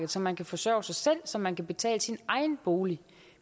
så man kan forsørge sig selv og så man kan betale sin egen bolig